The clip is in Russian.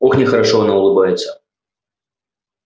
ох нехорошо она улыбается